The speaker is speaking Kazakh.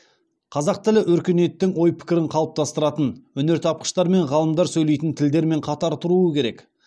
қазақ тілі өркениеттің ой пікірін қалыптастыратын өнертапқыштар мен ғалымдар сөйлейтін тілдермен қатар тұруы керек